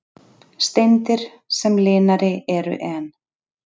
Steindir sem linari eru en